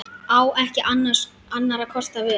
Á ekki annarra kosta völ.